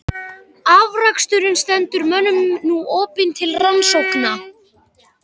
Afraksturinn stendur mönnum nú opinn til rannsókna.